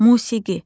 Musiqi.